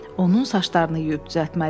Onun saçlarını yuyub düzəltməli idi.